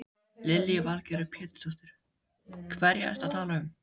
Lillý Valgerður Pétursdóttir: Hverja ertu að tala um?